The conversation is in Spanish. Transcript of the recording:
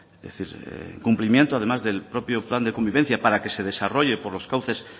es decir en cumplimiento además del propio plan de convivencia para que se desarrolle por los cauces